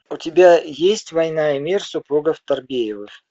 у тебя есть война и мир супругов торбеевых